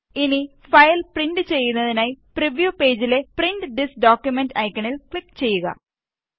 ഇനി file print ചെയ്യുന്നതിനായി preview പേജിലെ പ്രിന്റ് ദിസ് ഡോക്കുമെന്റ് ഐക്കണില് ക്ലിക് ചെയ്യുക